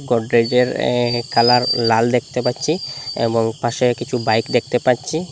গডরেজের এ্যাঁ কালার লাল দেখতে পাচ্ছি এবং পাশে কিছু বাইক দেখতে পাচ্ছি।